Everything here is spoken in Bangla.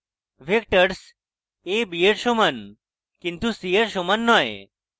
vectorsa b এর সমান কিন্তু c এর সমান নয়